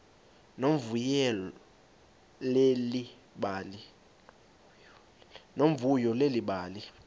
nomvuyo leli bali